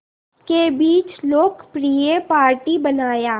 के बीच लोकप्रिय पार्टी बनाया